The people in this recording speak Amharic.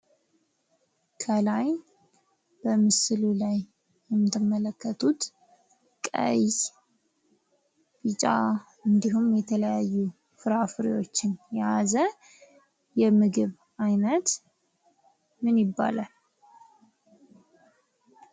ከላይ በምስሉ ላይ እንደምትመለከቱት ቀይ ፣ቢጫ እንዲሁም የተለያዩ ፍራፍሬዎችን የያዘ የምግብ አይነት ምን ይባላል?